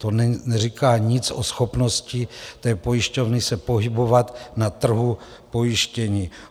To neříká nic o schopnosti té pojišťovny se pohybovat na trhu pojištění.